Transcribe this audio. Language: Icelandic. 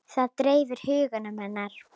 Það dreifði huga hennar.